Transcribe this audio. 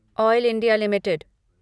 oil India limited